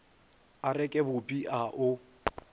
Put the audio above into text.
a reke bupi a o